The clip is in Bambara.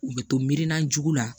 U bɛ to mirina jugu la